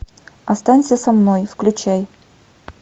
останься со мной включай